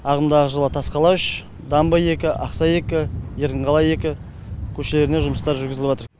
ағымдағы жылы тасқала үш дамбы екі ақсай екі еркінқала екі көшелеріне жұмыстар жүргізіліватыр